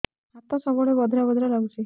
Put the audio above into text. ହାତ ସବୁବେଳେ ବଧିରା ବଧିରା ଲାଗୁଚି